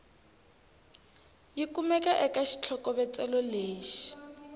yi kumaka eka xitlhokovetselo lexi